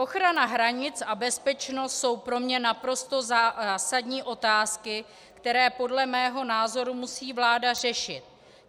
Ochrana hranic a bezpečnost jsou pro mě naprosto zásadní otázky, které podle mého názoru musí vláda řešit.